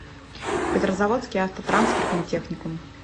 петрозаводский автотранспортный техникум